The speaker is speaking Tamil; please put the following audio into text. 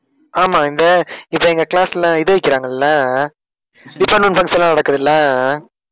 ஆமா இந்த இப்ப எங்க class ல இது வைக்கிறாங்கல்ல அஹ் department function எல்லாம் நடக்குதுல்ல அஹ்